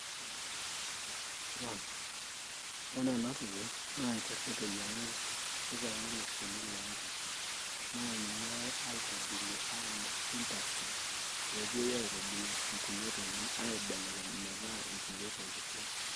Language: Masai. Ore enatoki, naa enker eteyiang'aki nitaini ilo shoni lonkerra. Naa ninye eyai aitobirie amir industry pepuoi aitobirie inkulie tokiting, aibelekeny metaa inkulie tokiting.